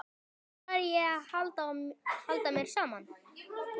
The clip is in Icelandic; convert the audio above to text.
Hvenær læri ég að halda mér saman?